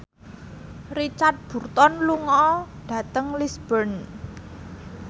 Richard Burton lunga dhateng Lisburn